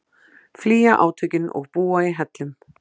Flýja átökin og búa í hellum